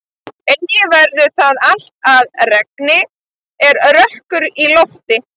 Eigi verður það allt að regni er rökkur í lofti.